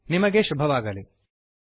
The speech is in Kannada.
ನಿಮಗೆ ಶುಭವಾಗಲಿ160